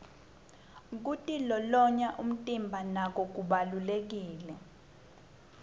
kitilolonya umtimba nako kubalulekile